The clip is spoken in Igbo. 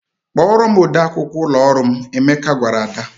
"Kpọọrọ m ode akwụkwọ ụlọ ọrụ m," Emeka gwara Ada.